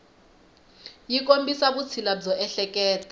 yi kombisa vutshila byo ehleketa